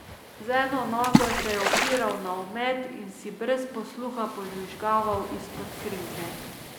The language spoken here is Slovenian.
Z eno nogo se je opiral na omet in si brez posluha požvižgaval izpod krinke.